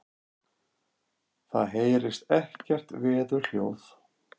Það heyrist ekkert veðurhljóð.